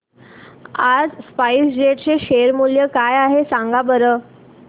आज स्पाइस जेट चे शेअर मूल्य काय आहे सांगा बरं